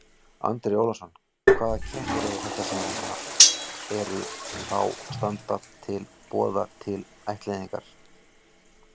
Andri Ólafsson: Hvaða kettir eru þetta sem að eru, þá standa til boða til ættleiðingar?